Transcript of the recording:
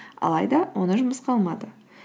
алайда оны жұмысқа алмады